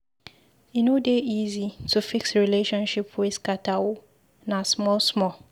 E no dey easy to fix relationship wey scatter o, na small-small.